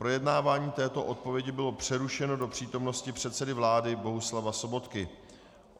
Projednávání této odpovědi bylo přerušeno do přítomnosti předsedy vlády Bohuslava Sobotky.